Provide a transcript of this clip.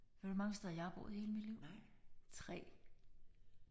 Ved du hvor mange steder jeg har boet hele mit liv? 3